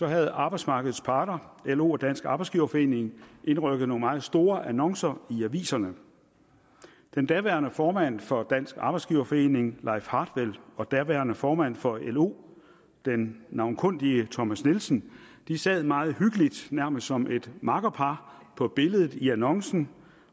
havde arbejdsmarkedets parter lo og dansk arbejdsgiverforening indrykket nogle meget store annoncer i aviserne den daværende formand for dansk arbejdsgiverforening leif hartwell og daværende formand for lo den navnkundige thomas nielsen sad meget hyggeligt nærmest som et makkerpar på billedet i annoncen